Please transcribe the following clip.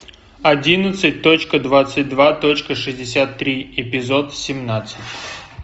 одиннадцать точка двадцать два точка шестьдесят три эпизод семнадцать